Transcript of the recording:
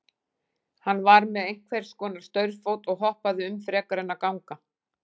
Hann var með einhvers konar staurfót og hoppaði um frekar en að ganga.